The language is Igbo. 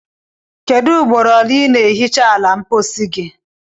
Kedu ugboro ole i na ehicha ala ulo mpochi gi?